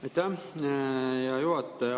Aitäh, hea juhataja!